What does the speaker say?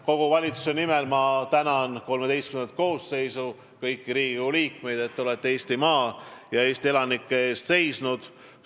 Kogu valitsuse nimel ma tänan XIII koosseisu, kõiki Riigikogu liikmeid, et te olete Eestimaa ja Eesti elanike eest seisnud!